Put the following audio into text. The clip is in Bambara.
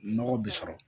Nɔgɔ bi sɔrɔ